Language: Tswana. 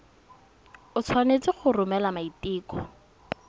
o tshwanetse go romela maiteko